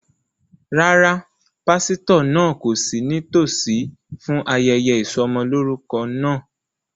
Rárá, pásítọ̀ náà kò sí nítòsí fún ayẹyẹ ìsọmọlorúkọ ọmọ náà